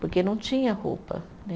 Porque não tinha roupa, né?